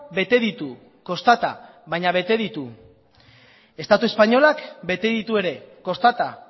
bete ditu kostata baina bete ditu estatu espainolak bete ditu ere kostata